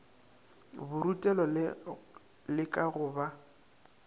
borutelo le ka go ba